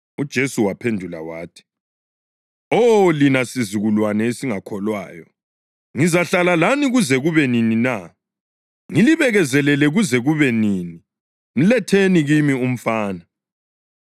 UJesu waphendula wathi, “Oh, lina sizukulwane esingakholwayo, ngizahlala lani kuze kube nini na? Ngilibekezelele kuze kube nini? Mletheni kimi umfana.”